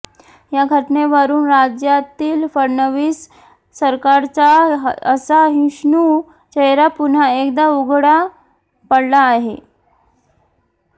या घटनेवरून राज्यातील फडणवीस सरकारचा असहिष्णु चेहरा पुन्हा एकदा उघडा पडला आहे